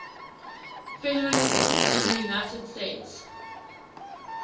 federalism in the united states